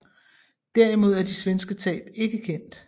Derimod er de svenske tab ikke kendt